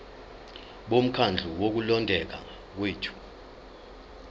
bomkhandlu wokulondeka kwethu